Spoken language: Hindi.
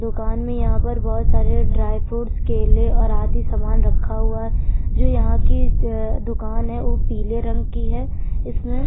दुकान में यहाँ पर बहुत सारे ड्राई फ्रूट्स केले और आदि सामान रखा हुआ है जो यहाँ की दुकान है वो पीले रंग की है इसमें --